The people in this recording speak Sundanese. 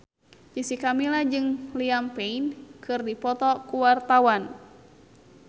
Jessica Milla jeung Liam Payne keur dipoto ku wartawan